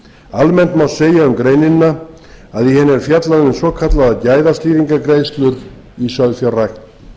almennt má segja um greinina að í henni er fjallað um svokallaðar gæðastýringargreiðslur í sauðfjárrækt